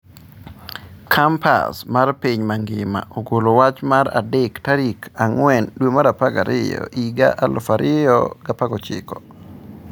Kompas mar piny mangima ogolo wach mar adek tarik 04/12/2019